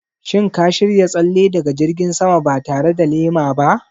Shin ka shirya tsalle daga jirgin sama ba tare da lema ba?